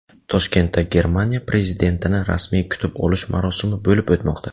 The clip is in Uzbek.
Toshkentda Germaniya prezidentini rasmiy kutib olish marosimi bo‘lib o‘tmoqda.